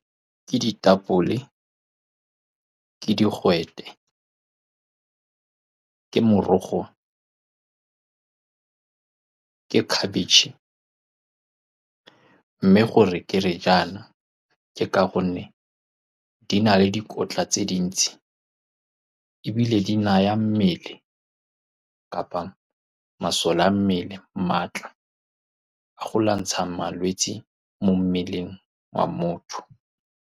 Ke ditapole, ke digwete, ke morogo, ke khabetšhe. Mme gore ke re jaana ke ka gonne di na le dikotla tse dintsi, ebile di naya mmele kapa masole a mmele maatla a go lwantsha malwetsi mo mmeleng wa motho.